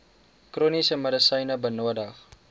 chroniese medisyne benodig